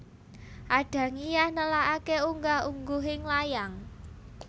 Adangiyah nelakake unggah ungguhing layang